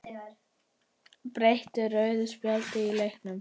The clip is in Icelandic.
Breytti rauða spjaldið leiknum?